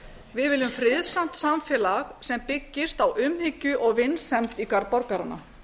við viljum friðsamt samfélag sem byggist á umhyggju og vinsemd í garð borgaranna